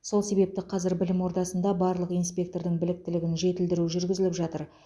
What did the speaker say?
сол себепті қазір білім ордасында барлық инспектордың біліктілігін жетілдіру жүргізіліп жатыр